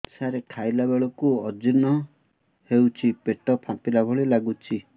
ସାର ଖାଇଲା ବେଳକୁ ଅଜିର୍ଣ ହେଉଛି ପେଟ ଫାମ୍ପିଲା ଭଳି ଲଗୁଛି